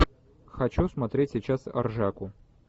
хочу смотреть сейчас ржаку